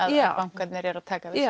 að bankarnir eru að taka við